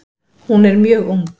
Hún er mjög ung.